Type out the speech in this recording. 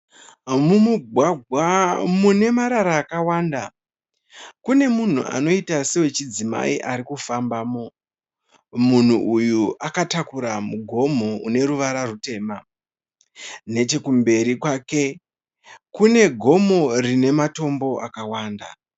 Mumugwagwa mune marara akawanda, kune munhu anoita sewechidzimai arikufambamo, munhu uyu akatakura mugomo une ruvara rutema. nechekumberi kwake kune gomo rine matombo akawanda.